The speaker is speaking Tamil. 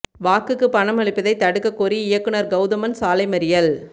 வாக்குக்கு பணம் அளிப்பதை தடுக்கக் கோரி இயக்குநா் கௌதமன் சாலை மறியல்